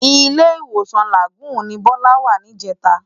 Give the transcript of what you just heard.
Ilé-Iwósán Lágùn ni Bola wá nijètá